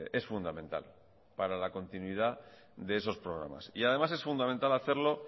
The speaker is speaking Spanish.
es fundamental para continuidad de esos programas y además es fundamental hacerlo